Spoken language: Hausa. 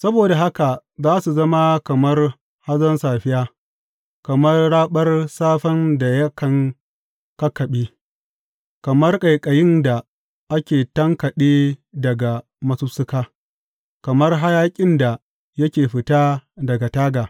Saboda haka za su zama kamar hazon safiya, kamar raɓar safen da yakan kakkaɓe, kamar ƙaiƙayin da ake tankaɗe daga masussuka, kamar hayaƙin da yake fita daga taga.